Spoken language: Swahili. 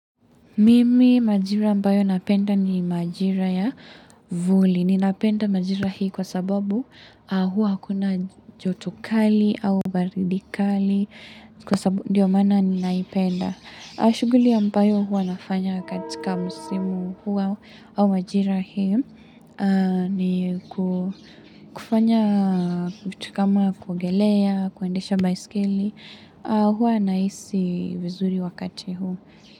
Mimi majira ambayo napenda ni majira ya vuli. Ninapenda majira hii kwa sababu hua hakuna joto kali au baridi kali ndio maana ninaipenda. Shughuli ya mpayo hua nafanya katika msimu hua au majira hii ni kufanya kutukama kugelea, kuendesha baiskeli. Hua naisi vizuri wakati huu.